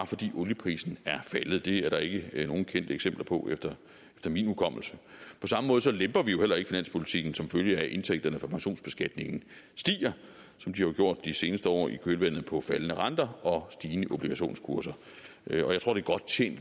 fordi olieprisen er faldet det er der ikke nogen kendte eksempler på efter min hukommelse på samme måde lemper vi jo heller ikke finanspolitikken som følge af at indtægterne for pensionsbeskatningen stiger som de har gjort de seneste år i kølvandet på faldende renter og stigende obligationskurser jeg tror at